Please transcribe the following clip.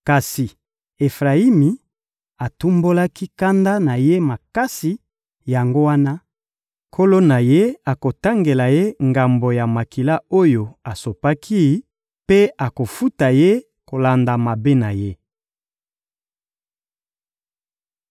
Kasi Efrayimi atumbolaki kanda na Ye makasi, yango wana, Nkolo na ye akotangela ye ngambo ya makila oyo asopaki mpe akofuta ye kolanda mabe na ye.